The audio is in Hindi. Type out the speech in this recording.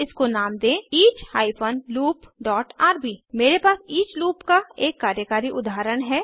और इसको नाम दें each hyphen loop dot RB मेरे पास ईच लूप का एक कार्यकारी उदाहरण है